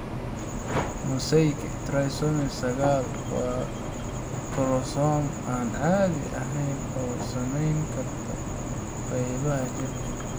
Mosaika trisomy sagal waa koromosoom aan caadi ahayn oo saameyn karta qaybaha jirka.